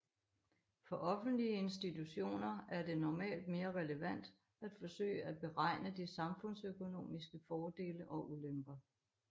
For offentlige institutioner er det normalt mere relevant at forsøge at beregne de samfundsøkonomiske fordele og ulemper